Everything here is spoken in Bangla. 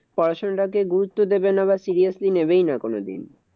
পড়াশোনাটাকে গুরুত্ব দেবে না বা seriously নেবেই না কোনোদিন।